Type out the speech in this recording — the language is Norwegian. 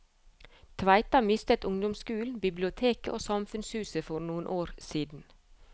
Tveita mistet ungdomsskolen, biblioteket og samfunnshuset for noen år siden.